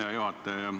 Hea juhataja!